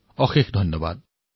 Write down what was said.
বহুত বহুত ধন্যবাদ